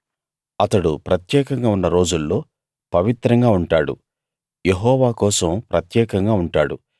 అతడు ప్రత్యేకంగా ఉన్న రోజుల్లో పవిత్రంగా ఉంటాడు యెహోవా కోసం ప్రత్యేకంగా ఉంటాడు